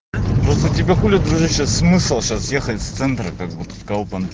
просто тебя болит у меня сейчас смысл сейчас ехать в центр как будка